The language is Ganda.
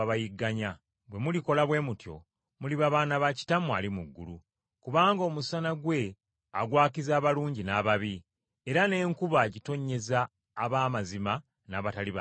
Bwe mulikola bwe mutyo muliba baana ba Kitammwe ali mu ggulu. Kubanga omusana gwe agwakiza abalungi n’ababi, era n’enkuba agitonnyeza ab’amazima n’abatali ba mazima.